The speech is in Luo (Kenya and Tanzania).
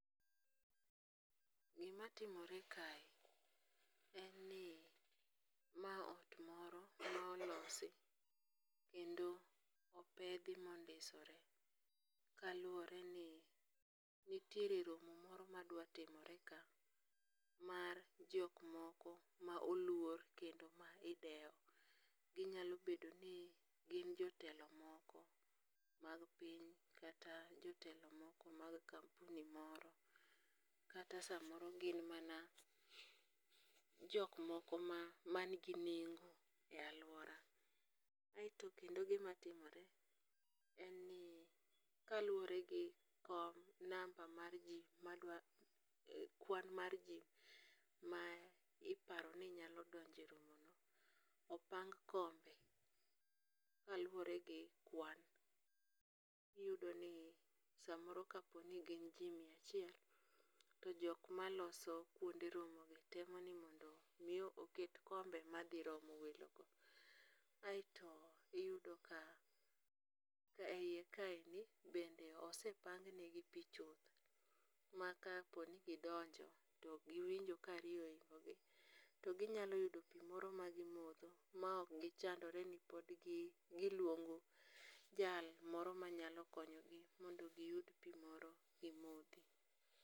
Gimatimore kae, en ni mae ot moro molosi kendo opethi ma ondisore kaluore ni nitiere romo moro ma dwa timore ka mar jok moko ma oluor kendo ma idewo ,ginyalo bedo ni gin jotelo moko mag piny kata gin jotelo moko mag kampuni moro, kata samoro gin mana jok moko manigi nengo e aluora, kaeto kendo gima timore en ni kaluore gi number mar ji kwan mar ji ma iparo ni nyalo donje e romono, opang kombe kaluore gi kwan. Iyudoni samoro ka poni gin ji mia achiel, to jok maloso kuonde romogi temo ni mondo omi oket kombe mathi romo welogo. Aeto iyudo ka a hiye kaendi bende osepangnegi pi chuth makaponi gidonjo to giwinjo ka riyo ohingogi to ginyalo yudo pi moro magimotho ma ok gichandroreni podgi gi giluongo jal moro manyalo konyogi mondo giyud pi moro gimothi.